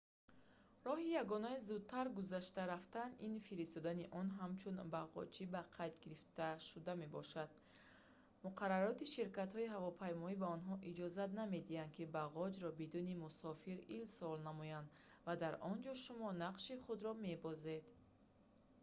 роҳи ягонаи зудтар гузашта рафтан ин фиристодани он ҳамчун бағоҷи ба қайд гирифташуда мебошад муқаррароти ширкатҳои ҳавопаймоӣ ба онҳо иҷозат намедиҳад ки бағоҷро бидуни мусофир ирсол намоянд ва дар инҷо шумо нақши худро мебозед